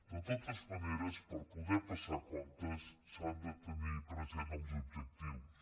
de totes maneres per poder passar comptes s’han de tenir presents els objectius